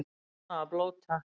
Bannað að blóta